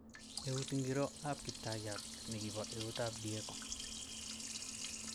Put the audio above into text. Eut ingiro ab Kiptayat, nikipo eut ab Diego!